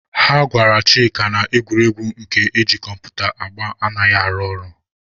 Ha gwara Chịka na egwuregwu nke eji kọmputa agba anaghị arụ ọrụ.